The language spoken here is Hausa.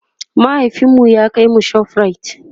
mahaifinmu ya kaimu shoprite